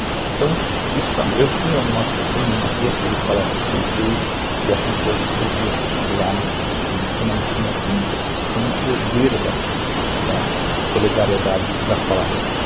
Então, eu fui em umas duas, três palestras que ele fez e eu vi as pessoas do lado extremamente comovidas com o poder da da solidariedade das palavras dele.